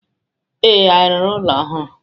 Ee, anyị rụrụ ụlọ ọhụrụ?